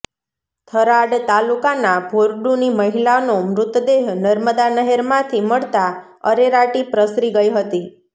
થરાદ તાલુકાના ભોરડુની મહિલાનો મૃતદેહ નર્મદા નહેરમાંથી મળતાં અરેરાટી પ્રસરી ગઇ હતી